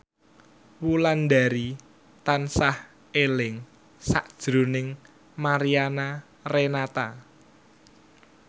Wulandari tansah eling sakjroning Mariana Renata